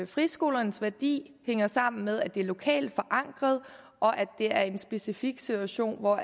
friskolernes værdi hænger sammen med at det er lokalt forankret og at det er en specifik situation hvor